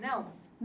Não?